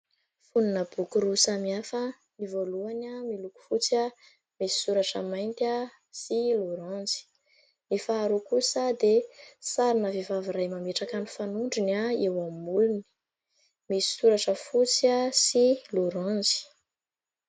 Fonona boky roa samy hafa, ny voalohany miloko fotsy misy soratra mainty sy loranjy, ny faharo kosa dia sarina vehivavy iray mametraka ny fanondriny a eo amin'ny molony, misy soratra fotsy sy loranjy.